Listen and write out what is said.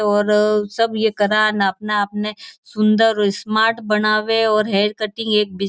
और सब ये करां और अपने अपने सुंदर स्मार्ट बनावे और हेयर कटिंग एक बिस--